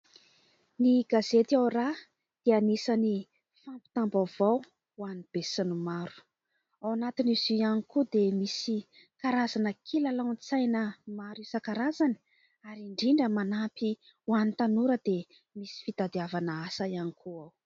Ny gazety "Ao raha" dia anisan'ny fampitam-baovao ho an'ny be sy ny maro ; ao anatin'izy io ihany koa dia misy karazana kilalaon-tsaina maro isan-karazany ; ary indrindra manampy ho an'ny tanora dia misy fitadiavana asa ihany koa ao.